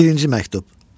Birinci məktub.